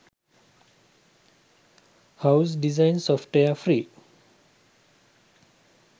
house design software free